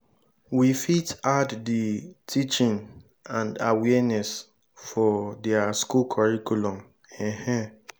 we fit add di teaching and awareness for their school curriculum um